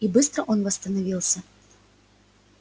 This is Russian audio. и быстро он восстановился